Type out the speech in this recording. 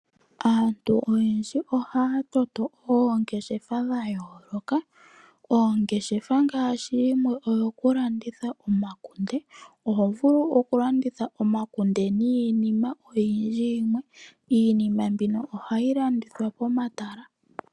Aantu oyendji ohaya toto oongeshefa dha yooloka. Ngaashi dhokulanditha omakunde. Oho vulu okulanditha omakunde niinima oyindji. Iinima mbino ohayi landithwa pomatala.